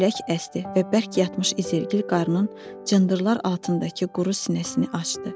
Külək əsdi və bərk yatmış izirgil qarın cındırlar altındakı quru sinəsini açdı.